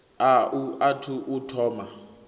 a u athu u thoma